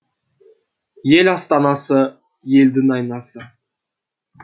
ел астанасы елдің айнасы